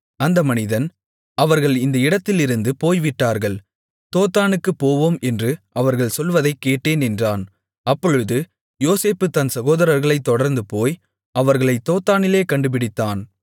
அந்த மனிதன் அவர்கள் இந்த இடத்திலிருந்து போய்விட்டார்கள் தோத்தானுக்குப் போவோம் என்று அவர்கள் சொல்வதைக்கேட்டேன் என்றான் அப்பொழுது யோசேப்பு தன் சகோதரர்களைத் தொடர்ந்துபோய் அவர்களைத் தோத்தானிலே கண்டுபிடித்தான்